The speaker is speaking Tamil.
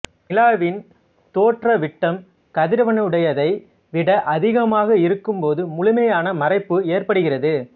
நிலாவின் தோற்ற விட்டம் கதிரவனுடையதை விட அதிகமாக இருக்கும் போது முழுமையான மறைப்பு ஏற்படுகிறது